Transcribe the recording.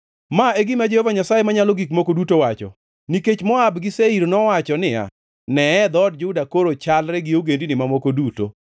“Ma e gima Jehova Nyasaye Manyalo Gik Moko Duto wacho: ‘Nikech Moab gi Seir nowacho niya, “Neye, dhood Juda koro chalre gi ogendini mamoko duto,”